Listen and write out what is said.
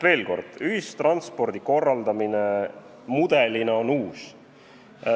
Veel kord, ühistranspordi korraldamise mudel on uus.